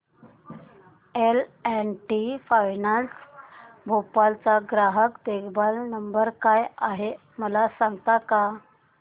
L and T finance Bhopal चा ग्राहक देखभाल नंबर काय आहे मला सांगता का